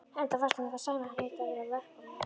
Enda fannst honum það sæmdarheiti að vera verkamaður.